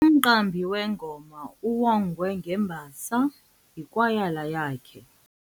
Umqambi wengoma uwongwe ngembasa yikwayala yakhe.